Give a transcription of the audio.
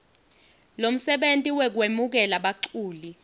lomsebenti wekwemukela baculi